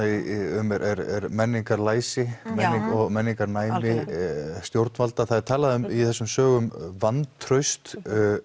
um er menningarlæsi menningarlæsi menningarnæmi stjórnvalda það er talað um í þessum sögum vantraust